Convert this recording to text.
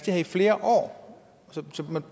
her i flere år så